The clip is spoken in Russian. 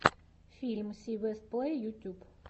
фильм си вест плей ютьюб